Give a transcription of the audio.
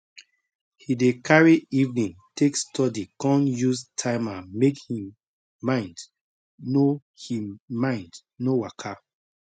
he dey carry evening take study con use timer make him mind no him mind no waka